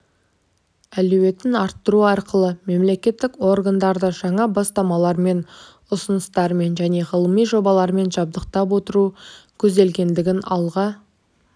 әлеуетін арттыру арқылы мемлекеттік органдарды жаңа бастамалармен ұсыныстармен және ғылыми жобалармен жабдықтап отыру көзделгендігін алға